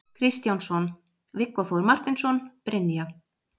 Kristjánsson, Viggó Þór Marteinsson, Brynja